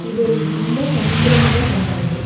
ಇದೊಂದು ತುಂಬಾ ಸಂಭ್ರಮದ ಹಬ್ಬ ಇದು.